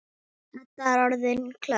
Edda er orðin klökk.